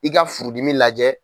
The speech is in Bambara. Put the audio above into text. I ka furudimi lajɛ.